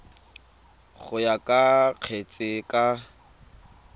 go ya ka kgetse ka